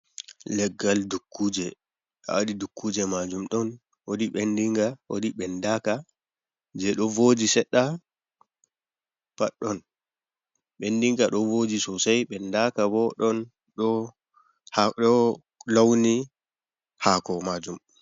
Leggal dukkuje a wadi dukkuje majum ɗon waɗi vindinga waɗi vindaka je ɗo voji seɗɗa, pat ɗon ɓendinga ɗo voji sosai ɓendaka bo ɗon ɗo launi haako majum.